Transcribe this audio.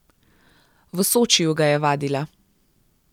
V Sočiju ga je vadila.